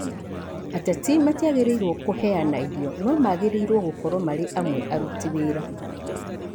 Ateti matiagĩrĩrũo kũheana irio no magĩrirwo gũkorwo marĩ amwe a arũti wĩra